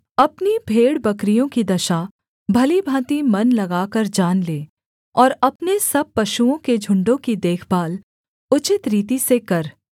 अपनी भेड़बकरियों की दशा भली भाँति मन लगाकर जान ले और अपने सब पशुओं के झुण्डों की देखभाल उचित रीति से कर